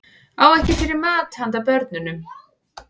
Á ekki fyrir mat handa börnunum